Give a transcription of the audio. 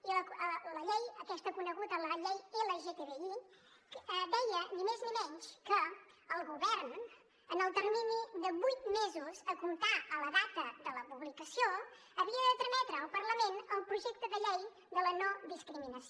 i la llei aquesta coneguda com la llei lgtbi deia ni més ni menys que el govern en el termini de vuit mesos a comptar des de la data de la publicació havia de trametre al parlament el projecte de llei de la no discriminació